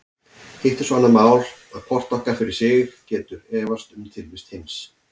Hitt er svo annað mál að hvort okkar fyrir sig getur efast um tilvist hins.